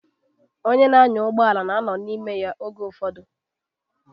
Onye na-anya ụgbọala na-anọ n'ime ya oge ụfọdụ.